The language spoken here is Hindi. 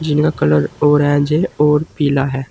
जिनका कलर ऑरेंज है और पीला है।